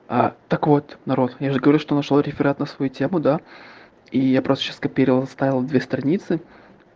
а так вот народ я же говорю что нашёл реферат на свою тему да и я просто сейчас скопировал вставил две страницы